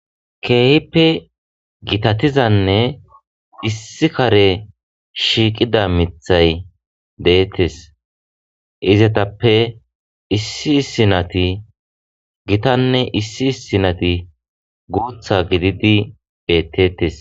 Keehippe gitatizanne issi kare shiiqida mithay deettes izatappe issi sinati gitanne issi sinati guutha gididi beettettes.